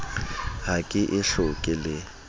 ha ke e hloke le